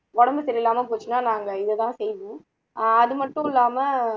உடம்பு சரியில்லாம போச்சுன்னா நாங்க இது தான் செய்வோம் அ அதுமட்டும் இல்லாம